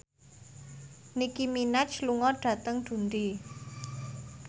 Nicky Minaj lunga dhateng Dundee